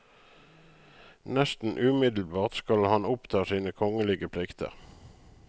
Nesten umiddelbart skal han oppta sine kongelige plikter.